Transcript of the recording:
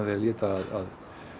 því að líta að